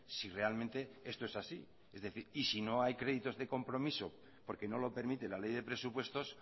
si realmente esto es así es decir y si no hay créditos de compromiso porque no lo permite la ley de presupuestos